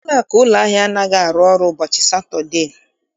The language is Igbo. Ụlọakụ ụlọahịa anaghị arụ ọrụ ụbọchị Satọdee